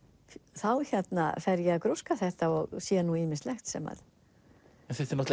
þá hérna fer ég að grúska þetta og sé ýmislegt sem að þetta er